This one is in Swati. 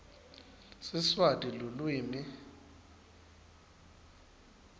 siswati lulwimi